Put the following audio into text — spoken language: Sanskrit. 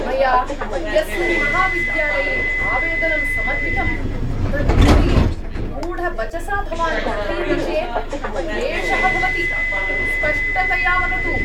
मया यस्मिन् महाविद्यालये आवेदनं समर्पितं तद्विषये गूढवचसा भवान् कथयति चेत् क्लेशः भवति। स्पष्टतया वदतु।